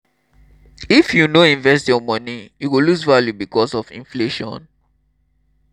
if you no invest your moni e go lose value because of inflation.